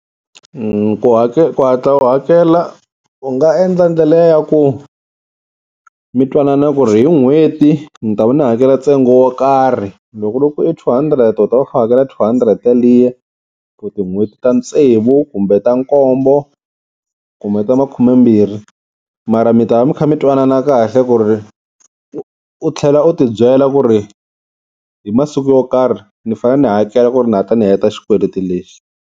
ku hatla u hakela u nga endla ndlela ya ku mi twanana ku ri hi n'hweti ni ta va ni hakela ntsengo wo karhi, loko ku ri ku i two hundred u ta va u kha u hakela two hundred yaliya for tin'hweti ta tsevu kumbe ta nkombo kumbe ta makhumembirhi. Mara mi ta va mi kha mi twanana kahle ku ri u tlhela u ti byela ku ri hi masiku yo karhi ni fane ni hakela ku ri ni hatla ni heta xikweleti lexi.